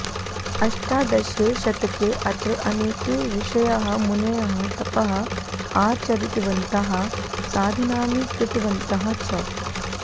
अष्टादशे शतके अत्र अनेके ऋषयः मुनयः तपः आचरितवन्तः साधनानि कृतवन्तः च